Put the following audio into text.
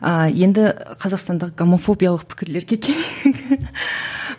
а енді қазақстандық гомофобиялық пікірлерге